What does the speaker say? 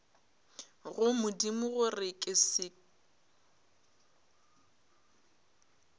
go modimo gore ke se